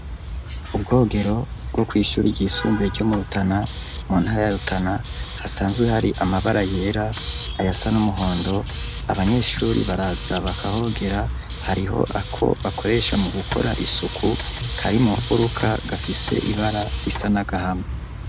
Ubwogero bwo ku ishure ry'isumbuye ryo murutana mu ntara ya rutana hasanzwe hari amabara yera ayasa n'umuhondo abanyeshure baraza bakahogera hariho ako bakoresha mu gukora isuku karimu furuka gafise ibara risa nagahama.